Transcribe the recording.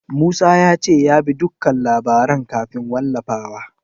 Musa ya ce ya bi dukkan labaran kafin wallafawa.